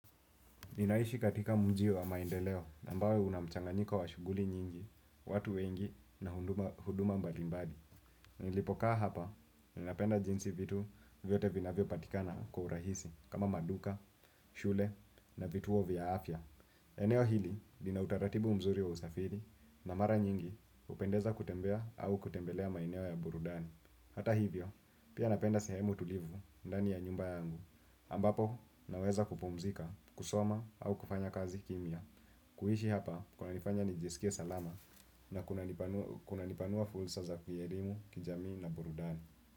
Ninaishi katika mjii wa maendeleo ambao una mchanganyiko wa shuguli nyingi, watu wengi na huduma mbalimbali. Nilipokaa hapa, ninapenda jinsi vitu vyote vinavyo patikana kwa urahisi kama maduka, shule na vituo vya afya. Eneo hili, lina utaratibu mzuri wa usafiri na mara nyingi hupendeza kutembea au kutembelea maeneo ya burudani. Hata hivyo, pia napenda sehemu tulivu, ndani ya nyumba yangu ambapo, naweza kupumzika, kusoma, au kufanya kazi kimia kuishi hapa, kunanifanya nijisikie salama na kuna nipanua fursa za kielimu, kijami na burudani.